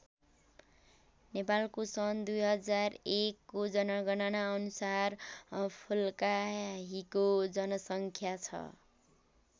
नेपालको सन् २००१को जनगणना अनुसार फुल्काहीको जनसङ्ख्या छ।